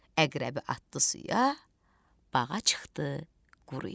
Əqrəbi atdı suya, bağa çıxdı quruya.